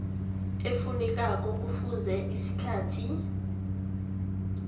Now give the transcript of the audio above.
efunekako kufuze isikhathi